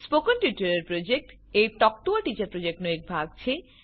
spoken tutorial project એ talk to a teacher પ્રોજેક્ટનો એક ભાગ છે